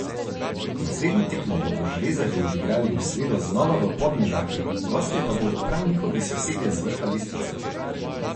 Naslednjo tekmo bodo železarji odigrali v sredo znova v Podmežakli, gostje pa bodo prav njihovi sosedje z vrha lestvice.